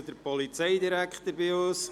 Ich begrüsse den Polizeidirektor bei uns.